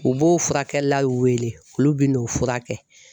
U b'o furakɛli la wele olu bɛ n'o fura kɛ.